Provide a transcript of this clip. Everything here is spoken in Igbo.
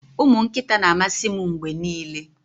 ụmụ nkịta na-amasị m mgbe niile